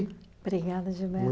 Obrigada, Gilberto.